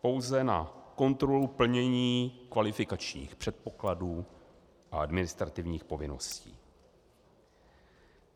pouze na kontrolu plnění kvalifikačních předpokladů a administrativních povinností.